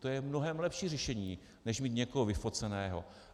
To je mnohem lepší řešení než mít někoho vyfoceného.